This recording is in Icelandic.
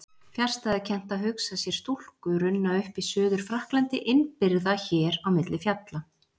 Fjarstæðukennt að hugsa sér stúlku runna upp í Suður-Frakklandi innibyrgða hér á milli fjalla.